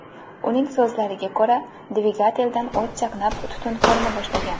Uning so‘zlariga ko‘ra, dvigateldan o‘t chaqnab, tutun ko‘rina boshlagan.